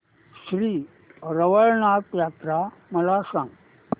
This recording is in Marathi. श्री रवळनाथ यात्रा मला सांग